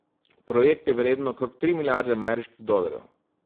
Projekt je vreden okrog tri milijarde ameriških dolarjev.